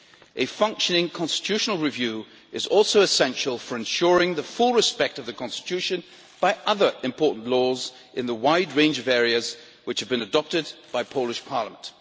A functioning constitutional review procedure is also essential for ensuring full respect for the Constitution by other important laws in a wide range of areas which have been adopted by the Polish Parliament.